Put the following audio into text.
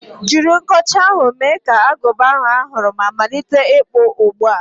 Jiri nkọcha ahụ, mee ka agụba ahụ a hụrụ ma malite ịkpụ ugbu a!